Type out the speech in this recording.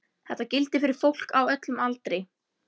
Þetta gildir fyrir fólk á öllum aldri.